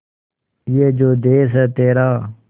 ये जो देस है तेरा